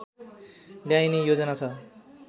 ल्याइने योजना छ